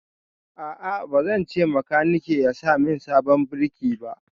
A'a, ba zan ce makaniki ya sa min sabon birki ba.